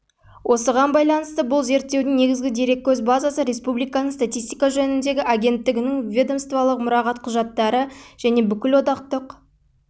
осыған байланысты бұл зерттеудің негізгі дереккөз базасы республиканың статистика жөніндегі агенттігінің ведомстволық мұрағат құжаттары және бүкілодақтық